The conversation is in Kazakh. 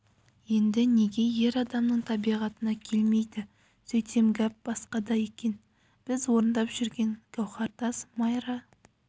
енді неге ер адамның табиғатына келмейді сөйтсем гәп басқада екен біз орындап жүрген гауһартас майра